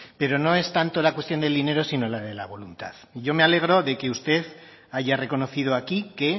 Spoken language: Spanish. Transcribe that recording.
pero no es tanto la cuestión del dinero sino la de la voluntad y yo me alegro de que usted haya reconocido aquí que